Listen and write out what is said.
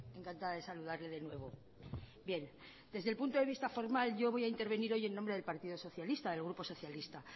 encantada de saludarle de nuevo bien desde el punto de vista formal yo voy a intervenir hoy en nombre del partido socialita del grupo socialista